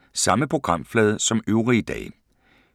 Samme programflade som øvrige dage